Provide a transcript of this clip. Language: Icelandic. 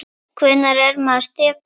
Hvenær er maður sekur?